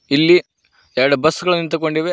ಇಲ್ಲಿ yard bus ಗಳು ನಿಂತುಕೊಂಡಿವೆ.